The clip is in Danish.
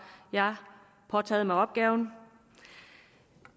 jeg påtaget mig opgaven